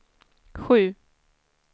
sju